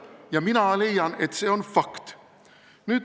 Ja mina leian, et see on fakt.